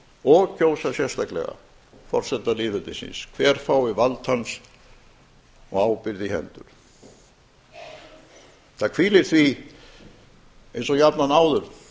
og kjósa sérstaklega forseta lýðveldisins hver fái vald hans og ábyrgð í hendur það hvílir því eins og jafnan áður